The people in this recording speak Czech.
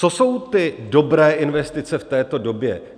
Co jsou ty dobré investice v této době?